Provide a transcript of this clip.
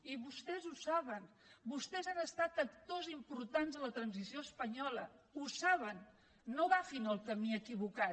i vostès ho saben vostès han estat actors importants en la transició espanyola ho saben no agafin el camí equivocat